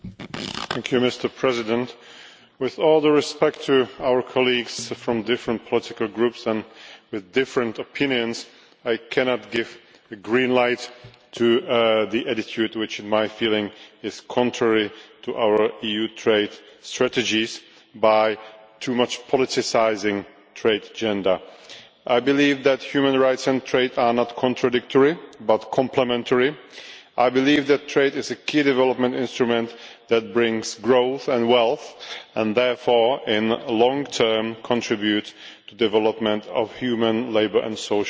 Mr President, with all due respect to our colleagues in the different political groups and with different opinions, I cannot give the green light to the attitude which I feel is contrary to our EU trade strategies, by politicising the trade agenda too much. I believe that human rights and trade are not contradictory, but complementary. I believe that trade is a key development instrument that brings growth and wealth, and therefore in the long term contributes to the development of human, labour and social rights.